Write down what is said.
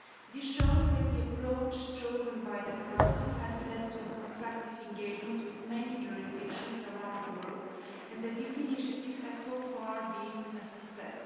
This shows that the approach chosen by the Council has led to a constructive engagement with many jurisdictions around the world and that the initiative has so far been a success.